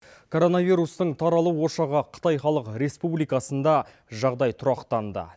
коронавирустың таралу ошағы қытай халық республикасында жағдай тұрақтанды